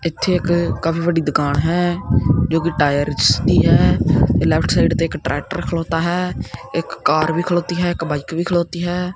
ਇੱਥੇ ਇੱਕ ਕਾਫੀ ਵੱਡੀ ਦੁਕਾਨ ਹੈ ਜੋ ਕਿ ਟਾਇਰਸ ਦੀ ਹੈ ਲੇਫਟ ਸਾਈਡ ਤੇ ਇੱਕ ਟ੍ਰੈਕਟਰ ਖਲੌਤਾ ਹੈ ਇੱਕ ਕਾਰ ਵੀ ਖਲੌਤੀ ਹੈ ਇੱਕ ਬਾਈਕ ਵੀ ਖਲੌਤੀ ਹੈ।